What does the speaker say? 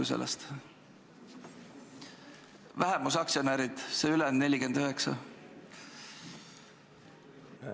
Ma pean silmas vähemusaktsionäre, seda ülejäänud 49%.